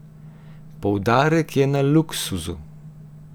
Poudarek je na luksuzu!